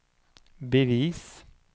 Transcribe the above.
bevis